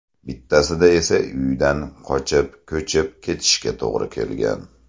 Bittasida esa uydan qochib ko‘chib ketishga to‘g‘ri kelgan.